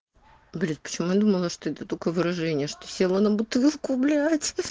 блять почему я думала что это такое выражение что села на бутылку блять